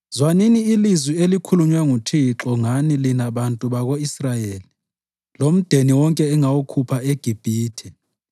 Zwanini ilizwi elikhulunywe nguThixo ngani lina bantu bako-Israyeli Lomndeni wonke engawukhupha eGibhithe: